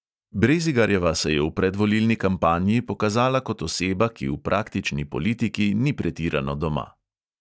Brezigarjeva se je v predvolilni kampanji pokazala kot oseba, ki v praktični politiki ni pretirano doma.